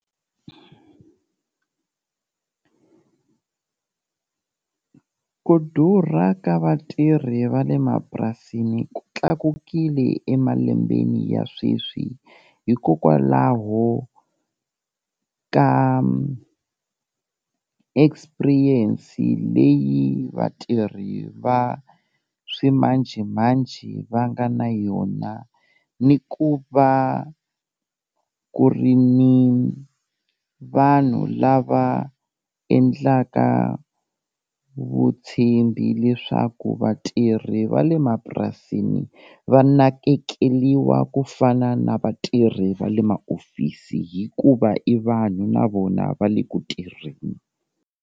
Ku durha ka vatirhi va le mapurasini ku tlakukile emalembeni ya sweswi, hikokwalaho ka experience leyi vatirhi va swimanjhemanjhe va nga na yona ni ku va ku ri ni vanhu lava endlaka vutshembi leswaku vatirhi va le mapurasini va nakekeliwa ku fana na vatirhi va le ma-office, hikuva i vanhu na vona va le ku tirheni.